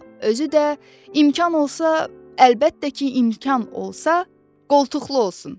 Özü də imkan olsa, əlbəttə ki, imkan olsa, qoltuqlu olsun!